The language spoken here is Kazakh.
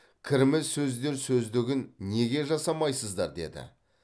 кірме сөздер сөздігін неге жасамайсыздар деді